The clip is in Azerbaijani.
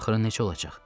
Sənin axırın necə olacaq?